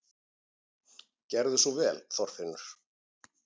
Gerðu svo vel, Þorfinnur!